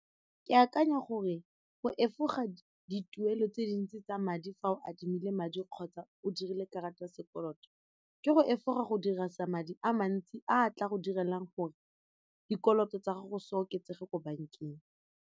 Ke akanya gore go efoga dituelo tse dintsi tsa madi fa o adimile madi kgotsa o dirile karata ya sekoloto ke go efoga go dirisa madi a mantsi a tla go direlang gore dikoloto tsa gago se oketsege ko bank-eng.